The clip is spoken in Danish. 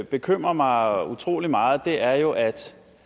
bekymrer mig utrolig meget er jo at